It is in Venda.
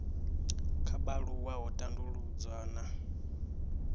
kha vhaaluwa ho tandavhudzwa na